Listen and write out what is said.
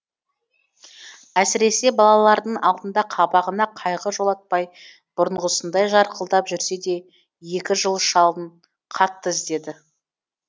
әсіресе балалардың алдында қабағына қайғы жолатпай бұрынғысындай жарқылдап жүрсе де екі жыл шалын қатты іздеді